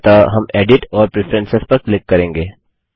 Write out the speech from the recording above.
अतः हम edit edit और Preferencesप्रेफरेंसेस पर क्लिक करेंगे